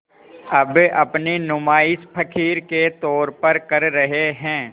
अब अपनी नुमाइश फ़क़ीर के तौर पर कर रहे हैं